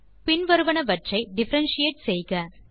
பின் வருவனவற்றை டிஃபரன்ஷியேட் செய்க